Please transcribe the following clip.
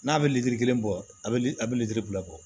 N'a bɛ litiri kelen bɔ a bɛ a bɛ lili bil'i kɔ